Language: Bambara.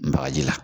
Bagaji la